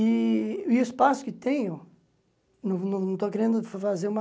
E e o espaço que tenho, não não não estou querendo fazer uma...